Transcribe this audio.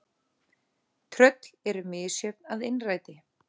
. Tröll eru misjöfn að innræti.